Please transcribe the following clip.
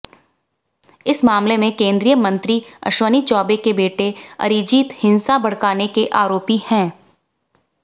इस मामले में केंद्रीय मंत्री अश्विनी चौबे के बेटे अरिजीत हिंसा भड़काने के आरोपी हैं